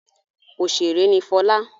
Òṣèrè ni Fọlá.